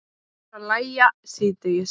Fer að lægja síðdegis